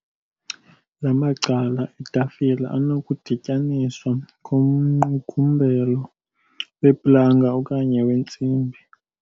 La macala etafile anokudityaniswa ngomqukumbelo weplanga okanye wentsimbi.